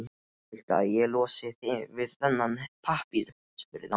Viltu að ég losi þig við þennan pappír? spurði hann.